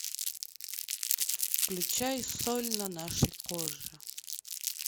включай соль на нашей коже